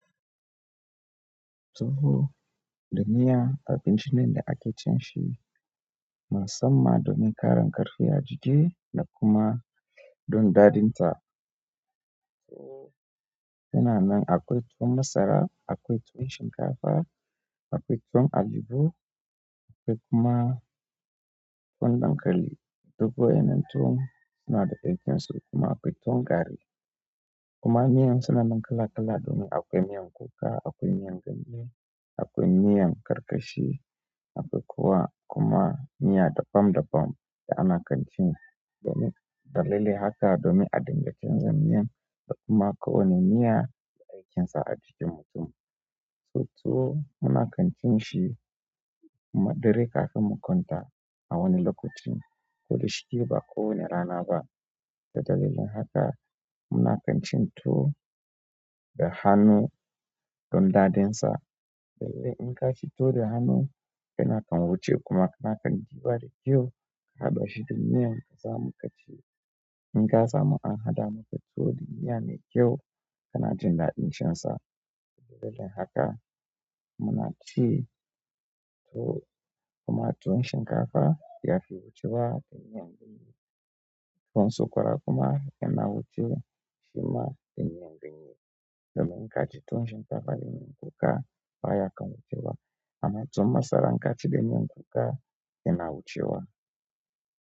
Tuwo da miya abinci ne da ake cin shi musamman domin ƙarin ƙarfi a jiki da kuma don daɗin ta. Tuwo suna nan akwai tuwon masara, akwai tuwon shinkafa, akwai tuwon alibo, akwai kuma tuwon dankali. Duk waɗannan tuwo suna da daɗin su kuma akwai tuwon gari. Kuma miyan suna nan kala kala domin akwai miyan kuka, akwai miyan ganye, akwai miyan karkashi akwai kuwa kuma miya daban-daban da ana kan ci. Domin dalili haka, domin a dinga canza miyan da kuma ko wane miya da aikinsa a jikin mutum. To tuwo muna kan cin shi, kuma dare kafin mu kwanta a wani lokaci ko da shike ba ko wani rana ba. Ta dalilin haka muna kan cin tuwo da hannu don daɗinsa dalilin inka ci tuwo da hannu kana kan wuce kuma kana kan ɗiba da kyau. Ka haɗa shi da miyan ka samu ka ci, in ka samu an haɗa maka tuwo da miya mai kyau kana jin daɗin cin sa. Dalilin haka muna ci tuwo kuma tuwon shinkafa ya fi wucewa da miyan ganye. Tuwon sokwara kuma yana wuce shi ma da miyan ganye. Domin in ka ci tuwon shinkafa da miyan kuka baya kan wucewa. Amma tuwon masara inka ci da miyan kuka yana wucewa.